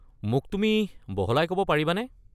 মোক তুমি বহলাই ক'ব পাৰিবানে?